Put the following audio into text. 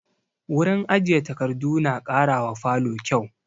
Wurin ajiye takardu na ƙara wa falo kyau